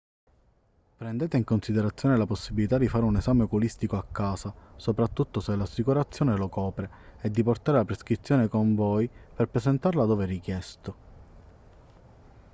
prendete in considerazione la possibilità di fare un esame oculistico a casa soprattutto se l'assicurazione lo copre e di portare la prescrizione con voi per presentarla dove richiesto